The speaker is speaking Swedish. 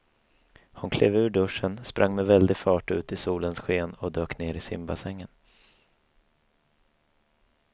Hon klev ur duschen, sprang med väldig fart ut i solens sken och dök ner i simbassängen.